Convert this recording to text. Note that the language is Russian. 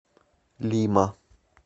лима